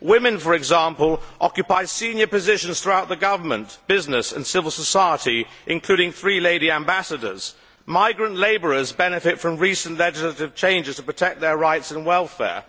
Women, for instance, occupy senior positions throughout the government, business and civil society, including three lady ambassadors. Migrant labourers benefit from recent legislative changes to protect their rights and welfare.